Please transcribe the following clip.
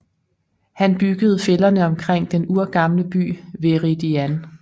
Han byggede fælderne omkring den urgamle by Veridian